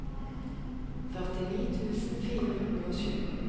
førtini tusen fire hundre og sju